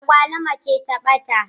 Agwaluma ce ta ba ta.